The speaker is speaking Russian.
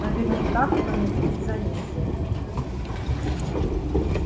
наверняка кто-нибудь заметил